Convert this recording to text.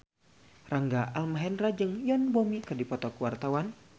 Rangga Almahendra jeung Yoon Bomi keur dipoto ku wartawan